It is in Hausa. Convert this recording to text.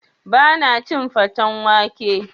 Ba na cin faten wake